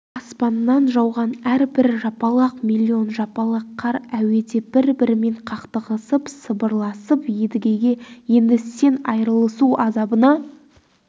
аспаннан жауған әрбір жапалақ миллион жапалақ қар әуеде бір-бірімен қақтығысып сыбырласып едігеге енді сен айырылысу азабына